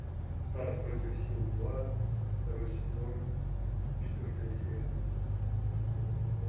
стар против сил зла второй сезон четвертая серия